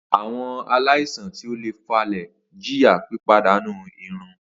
Awọn alaisan ti o le fa le jiya pipadanu irun.